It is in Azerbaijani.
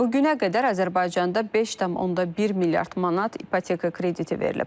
Bu günə qədər Azərbaycanda 5,1 milyard manat ipoteka krediti verilib.